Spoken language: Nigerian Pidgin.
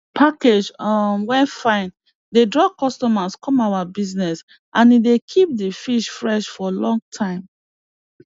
package um wey fine dey draw customer come our bizness and e dey keep di fish fresh for long time